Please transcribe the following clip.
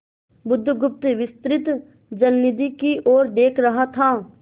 बुधगुप्त विस्तृत जलनिधि की ओर देख रहा था